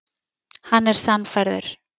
Hann er sannfærður.